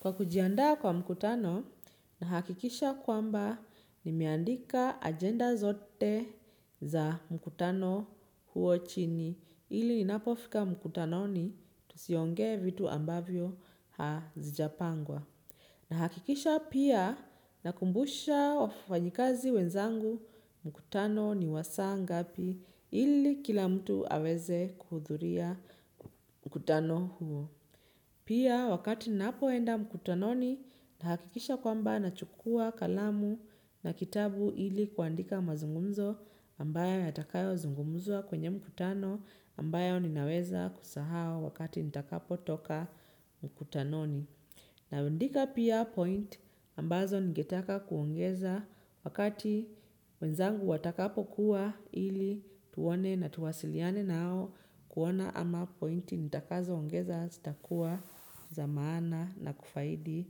Kwa kujiandaa kwa mkutano nahakikisha kwamba nimeandika ajenda zote za mkutano huo chini ili ninapofika mkutanoni tusiongee vitu ambavyo hazijapangwa. Nahakikisha pia nakumbusha wafanyikazi wenzangu mkutano ni wasaa ngapi ili kila mtu aweze kuhudhuria mkutano huo. Pia wakati napoenda mkutanoni nahakikisha kwamba nachukua kalamu na kitabu ili kuandika mazungumzo ambayo yatakayozungumzwa kwenye mkutano ambayo ninaweza kusahau wakati nitakapo toka mkutanoni. Naandika pia point ambazo nigetaka kuongeza wakati wenzangu watakapokuwa ili tuone na tuwasiliane nao kuona ama point nitakazoongeza ztakua za maana na kufaidi